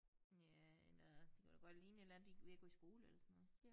Ja eller det kunne da godt ligne et eller andet de ved at gå i skole eller sådan noget